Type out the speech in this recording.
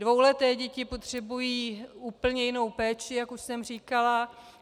Dvouleté děti potřebují úplně jinou péči, jak už jsem říkala.